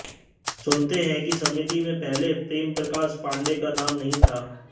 सुनते हैं कि समिति में पहले प्रेमप्रकाश पाण्डेय का नाम नहीं था